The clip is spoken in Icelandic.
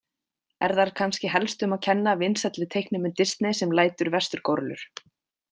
Er þar kannski helst um að kenna vinsælli teiknimynd Disney sem lætur vesturgórillur.